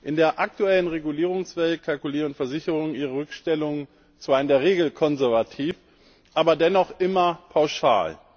In der aktuellen Regulierungswelt kalkulieren Versicherungen ihre Rückstellungen zwar in der Regel konservativ, aber dennoch immer pauschal.